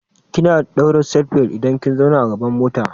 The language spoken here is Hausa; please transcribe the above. Kina daura seatbelt idan kin zauna a gaban mota.